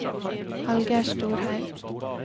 Hallgeir Storhaug